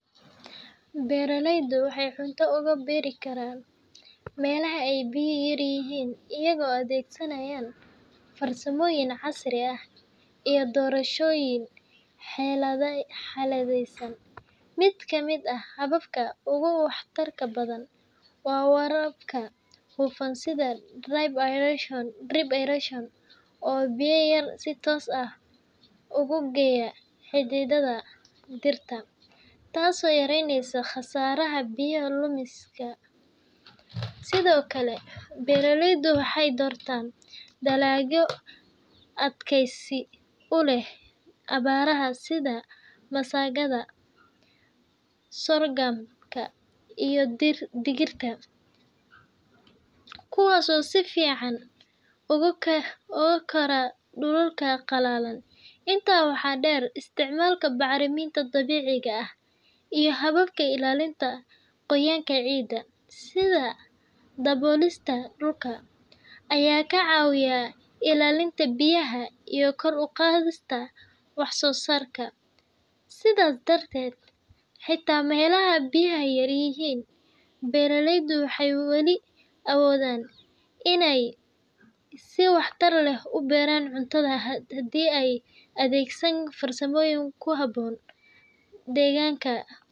Beeraleydu waxay cunto uga beeri karaan meelaha ay biyo yaryihiin iyagoo adeegsanaya farsamooyin casri ah iyo doorashooyin xeeladaysan. Mid ka mid ah hababka ugu waxtarka badan waa waraabka hufan sida drip irration, oo biyo yar si toos ah ugu geeya xididdada dhirta, taasoo yareyneysa khasaaraha biyo lumiska. Sidoo kale, beeraleydu waxay doortaan dalagyo adkaysi u leh abaaraha sida masagada, sogamka, iyo digirta, kuwaas oo si fiican ugu kora dhulalka qalalan. Intaa waxaa dheer, isticmaalka bacriminta dabiiciga ah iyo hababka ilaalinta qoyaanka ciidda, sida daboolista dhulka , ayaa ka caawiya ilaalinta biyaha iyo kor u qaadista wax-soo-saarka. Sidaas darteed, xitaa meelaha biyo yar yihiin, beeraleydu waxay weli awoodaan inay si waxtar leh u beeraan cunto haddii ay adeegsadaan farsamooyin ku habboon deegaanka.